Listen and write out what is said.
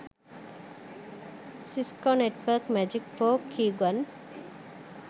cisco network magic pro keygen